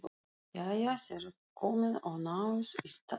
Jæja, þér komið og náið í saltið.